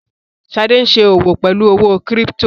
Ṣadé ń ṣe òwò pelu owó kírípító.